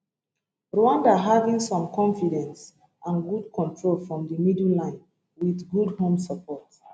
rwanda having some confidence and good control from di middle line wit good home support